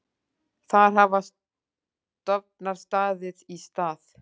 Þar hafa stofnar staðið í stað.